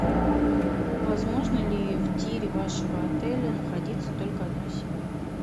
возможно ли в тире вашего отеля находиться только одной семье